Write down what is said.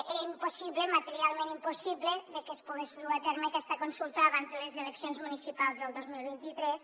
era impossible materialment impossible que es pogués dur a terme aquesta consulta abans de les eleccions municipals del dos mil vint tres